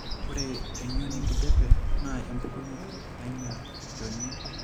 Ore eng'ion enkijiape naa empukunoto nainyial olchoni.